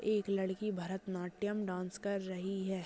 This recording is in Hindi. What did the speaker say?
एक लड़की भरतनाट्यम डांस कर रही है।